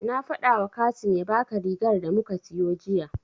Na faɗawa Kasim ya baka rigar da muka siyo jiya.